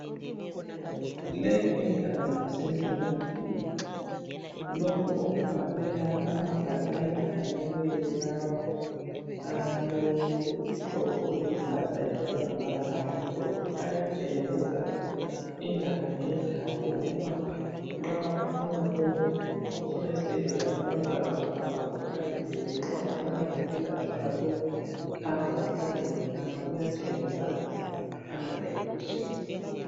Leyi indawo kusemtholampilo. Lokhu okubhalwe lapha amabhakane afakiweyo lawa alohlobo oluluhlaza ebhalwe ngamabala amhlophe ayatshengisa indawo ngendawo ukuba nxa ufuna lokhu, ufuna isibhedlela sabantwana uhamba ukhangele le, nxa ufuna lapha okuyelatshwa lokhu hamba ukhangele ngapha. Kuyatshengisa amadirections.